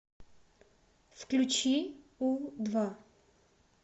включи у два